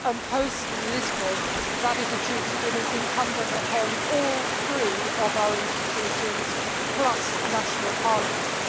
Post Lisbon, that is a duty that is incumbent upon all three of our institutions plus national parliaments.